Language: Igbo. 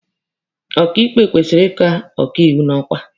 Ọkaịkpe kwesịrị ịka ọkaiwu n'ọkwa.